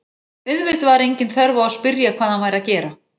Auðvitað var engin þörf á að spyrja hvað hann væri að gera.